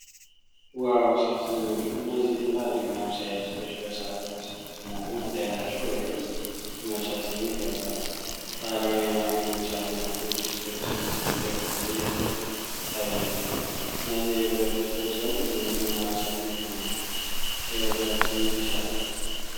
ዋው ሲያስደነግጥ! እነዚህ ትላልቅ ማብሰያ ድስቶች በእሳት ላይ ሲሞቁ መታየታቸው በቤት ውስጥ የመብሰል ስሜት ይፈጥራሉ። ባህላዊ የማገዶ እሳት እና ጡብ ድስቶቹን ሲደግፉ ይታያሉ። እነዚህ የብረት ድስቶች ለብዙ ምግብ ማብሰል ምቹ ናቸው። የብክለት ስሜት ይሰጣል!